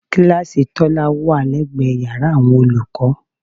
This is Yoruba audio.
Kíláàsì Tọ́lá wà lẹ́gbẹ̀ẹ́ yàrá àwọn olùkọ́